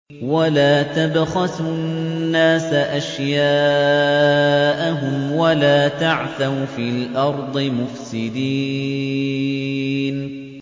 وَلَا تَبْخَسُوا النَّاسَ أَشْيَاءَهُمْ وَلَا تَعْثَوْا فِي الْأَرْضِ مُفْسِدِينَ